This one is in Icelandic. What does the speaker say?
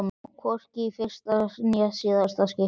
Og hvorki í fyrsta né síðasta skipti.